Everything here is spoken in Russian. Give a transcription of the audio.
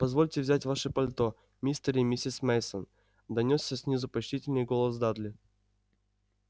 позвольте взять ваши пальто мистер и миссис мейсон донёсся снизу почтительный голос дадли